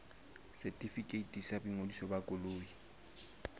setefikeiti sa boingodiso ba koloi